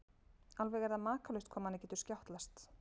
Alveg er það makalaust hvað manni getur skjátlast!